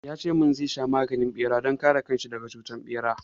Ya ce min zai sa maganin bera don kare kan shi daga cutar ɓera.